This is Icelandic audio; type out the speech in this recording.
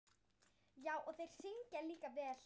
Já, og þeir syngja líka vel í dag.